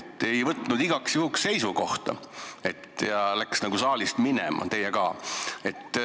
Reformierakond ei võtnud igaks juhuks seisukohta ja läks saalist minema, teie ka.